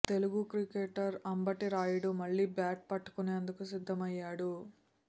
Telugu cricketer Ambati Rayudu మళ్లీ bat పట్టుకునేందుకు సిద్దమయ్యాడు